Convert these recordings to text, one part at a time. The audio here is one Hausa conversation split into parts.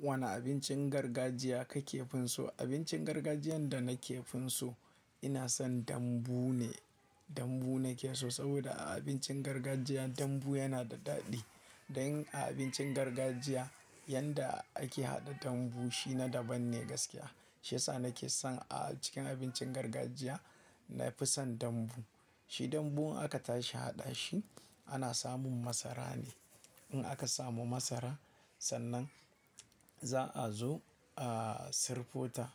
Wane abincin gargajiya kake fin su? Abincin gargajiyan da nake fin so ina son dambu ne. Dambu na ke so saboda a abincin gargajiya dambu yana da daɗi. Dan a abincin gargajiya yanda ake haɗa dambu shi na daban ne gaskiya. Shi ya sa na ke son a cikin abincin gargajiya, na fi son dambu. Shi dambu in aka tashi haɗa shi ana samun masara ne. In aka samu masara sannan za'a zo a sirfo ta.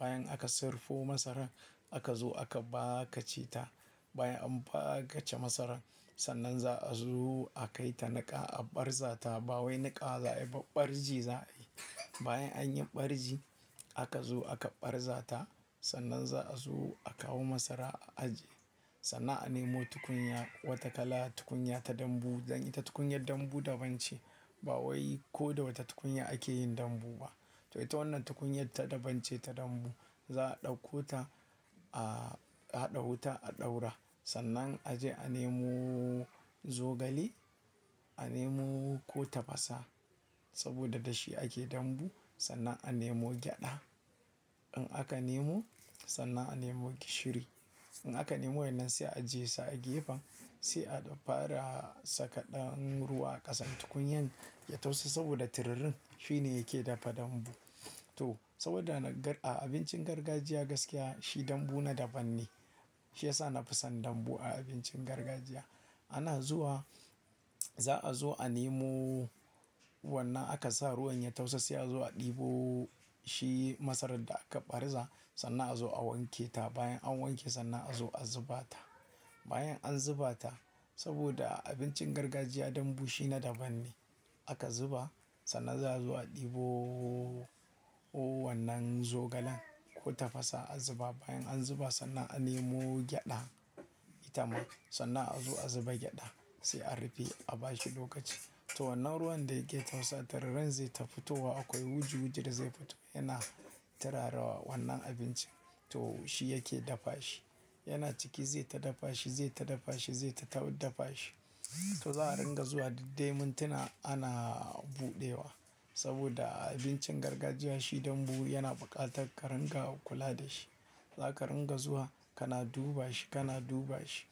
Bayan aka sirfo masaran, aka zo aka baka ce ta. Bayan an baka ce masarar, sannan za'a zo a kai ta niƙa a ɓarza ta. Ba wai niƙa za a yi ba, ɓarji za a yi. Bayan an yi ɓarji aka zo aka ɓarza ta. Sannan za'a zo a kawo masara a aje. Sannan a nemo tukunya wata kala, tukunya ta dambu. Dan ita tukunyar dambu dabance. Ba wai ko da wata tukunya ake yin dambu ba. To, ita wannan tukunyar ta dabance ta dambu. Za'a ɗauko ta a-- a haɗa wuta, a ɗaura. Sannan a je a nemo zogale, a nemo ko tafasa. Saboda da shi ake dambu. Sannan a nemo gyaɗa. In aka nemo sannan a nemo gishiri. In aka nemo waɗannan sai a ajiye su a gefen sai a dan fara saka ɗan ruwa a ƙasan tukunyar ya tausu saboda tururin shi ne yake dafa dambu. To saboda na gar-- a abincin gargajiya gaskiya shi dambu na daban ne. Shi ya sa na fi son dambu a abincin gargajiya. Ana zuwa, za'a zo a nemo wannan aka sa ruwan ya tafasa sai a zo a ɗebo shi masarar da aka ɓarza sannan a zo a wanke ta. Bayan an wanke sannan a zo a zuba ta. Bayan an zuba ta saboda a abincin gargajiya dambu shi na daban ne. In Aka zuba sannan za'a zo a ɗebo wannan zogalen ko tafasa a zuba. Bayan an zuba sannan a nemo gyaɗa itama. Sannan a zo a zuba gyaɗa sai a rufe a bashi lokaci. To wannan ruwan da yake tausa tururen zai ta fitowa akwai wuji-wujin da zai fito yana turarawa wannan abinci. To shi yake dafa shi. Yana ciki zai ta dafa shi, zai ta dafa shi, zai ta tawu dafa shi. To za'a ringa zuwa duk dai mintuna ana buɗewa saboda abincin gargajiya shi dambu yana buƙatar ka ringa kula da shi. Zaka ringa zuwa kana duba shi, kana duba shi,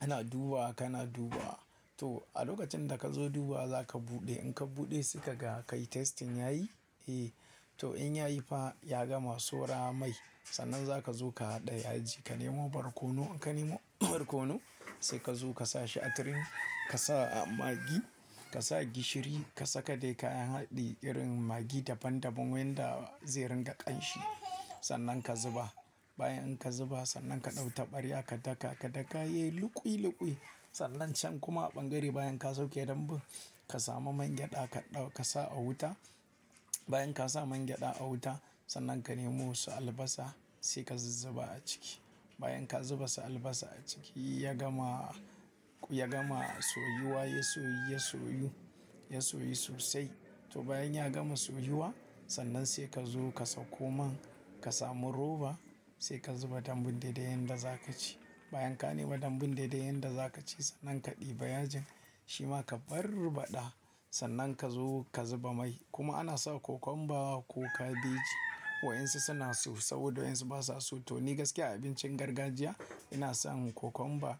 kana duba wa kana duba wa. To a lokacin da ka zo duba wa zaka buɗe. In ka buɗe sai kaga ka yi testing yayi? Eh. To in ya yi fa ya gama, saura mai. Sannan zaka zo ka haɗa yaji. Ka nemo barkono in ka nemo barkono sai ka zo ka sa shi a turmi. Ka sa a magi, ka sa gishiri, ka saka dai kayan haɗi irin magi daban daban wanda zai ringa ƙanshi. Sannan ka zuba. Bayan ka zuba sannan ka ɗau taɓarya ka daka, ka daka yayi luƙwai-luƙwai. Sannan can kuma a ɓangare bayan ka sauke dambu ka samu man gyaɗa ka ɗau ka sa a wuta. Bayan ka sa man gyaɗa a wuta, sannan ka nemo su albasa sai ka zuzzuba a ciki. Bayan ka zuba su albasa a ciki ya gama, ya gama soyuwa, ya soyu, ya soyu, ya soyu sosai. To bayan ya gama soyuwa sannan sai ka zo ka sako man. Ka samu roba sai ka zuba dambun daidai yanda zaka ci. Bayan ka nemo dambun daidai yanda zaka ci sannan ka ɗiba yajin. Shi ma ka barbaɗa sannan ka zo ka zuba mai. Kuma ana sa kokomba ko kabeji waye insu suna so saboda waye insu ba sa so. To ni gaskiya a abincin gargajiya ina son kokomba,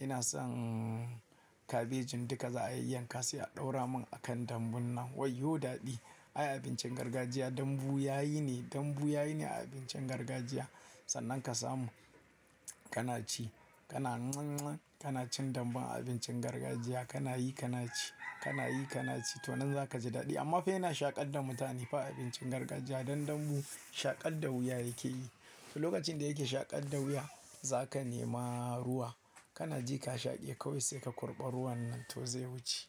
ina son kabejin duka za'ayi yanka sai a ɗaura mun akan dambun nan. Wai yo daɗi! Ai abincin gargajiya dambu yayi ne, dambu yayi ne a abincin gargajiya. Sannan ka samu kana ci, kana nan nan kana cin dambun a abincin gargajiya kana yi kana ci, kana yi kana ci. To nan za ka ji daɗi amma fa ina shaƙar da mutane fa abincin gargajiya dan dambu shaƙar da wuya yake yi. To lokacin da yake shaƙar da wuya za ka nema ruwa kana ji ka shaƙe kawai sai ka kurɓa ruwan nan to zai wuce.